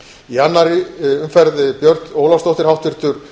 í annarri umferð björt ólafsdóttir háttvirtur